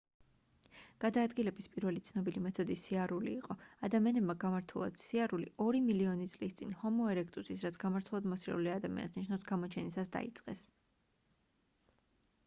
გადაადგილების პირველი ცნობილი მეთოდი სიარული იყო. ადამიანებმა გამართულად სიარული ორი მილიონი წლის წინ ჰომო ერექტუსის რაც გამართულად მოსიარულე ადამიანს ნიშნავს გამოჩენისას დაიწყეს